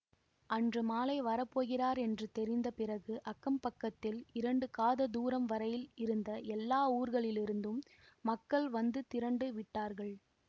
அன்று மாலை வரப்போகிறார் என்று தெரிந்த பிறகு அக்கம் பக்கத்தில் இரண்டு காத தூரம் வரையில் இருந்த எல்லா ஊர்களிலிருந்தும் மக்கள் வந்து திரண்டு விட்டார்கள்